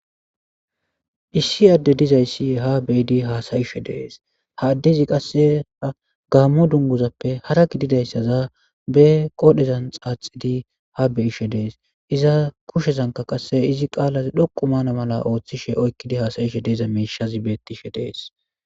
Issi adde dizayssi ha beyidi haasayishe dees ha addezi qassea gaammo dungozappe hara gididayssaza be qodhezan xaaxidi ha beyishe dees iza kushezanka qasse izi qaalaz dhoqu maana mala ooththishe oykkidi haasayishe deeza miishazi bettishe dees.